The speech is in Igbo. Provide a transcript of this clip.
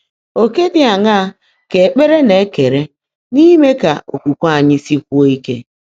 Ọ̀kè dị́ áṅaá kà ékpèré ná-èkeèré n’íime kà ókwúkwé ányị́ síkwúó íke?